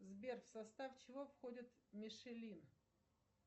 сбер в состав чего входит мишелин